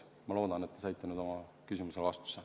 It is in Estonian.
Ma loodan, et te saite nüüd oma küsimusele vastuse.